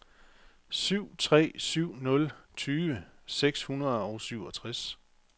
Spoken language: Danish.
syv tre syv nul tyve seks hundrede og syvogtres